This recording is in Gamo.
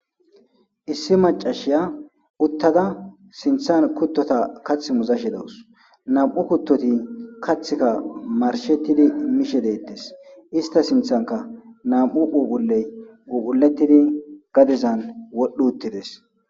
Issi macashshiya uttada sinththanni kutotas kaththi muzashshe dawus.nam''u kutotika kaththikka marshshetidi mishshe detees.isita sinththanikka nam''u phuphuleyi phuphulettid gadezanni wodhdhiz uttides.